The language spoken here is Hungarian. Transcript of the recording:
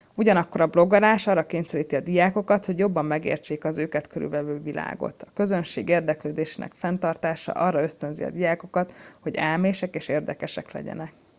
ugyanakkor a blogolás arra kényszeríti a diákokat hogy jobban megértsék az őket körülvevő világot.” a közönség érdeklődésének fenntartása arra ösztönzi a diákokat hogy elmések és érdekesek legyenek toto 2004